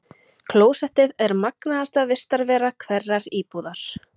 Klósettið er magnaðasta vistarvera hverrar íbúðar.